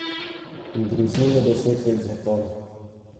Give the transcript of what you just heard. Grozi mu deset let zapora.